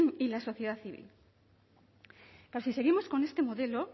y la sociedad civil que si seguimos con este modelo